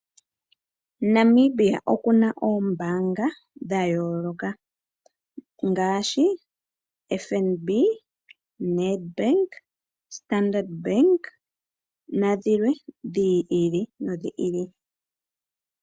Namibia okuna oombanga dha yooloka ngaashi: FNB, Nedbank, standard bank nadhilwe dhi ili nodhi ili.